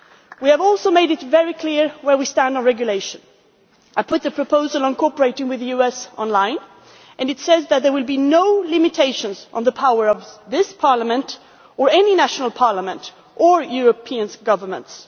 We have also made it very clear where we stand on regulation. I have put the proposal on cooperating with the US online, and it says that there will be no limitations on the power of this Parliament or any national parliament or of European governments.